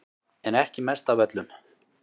En ekki mest af öllum